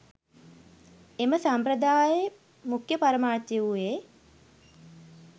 එම සම්ප්‍රදායේ මුඛ්‍ය පරමාර්ථය වූයේ